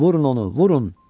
Vurun onu, vurun!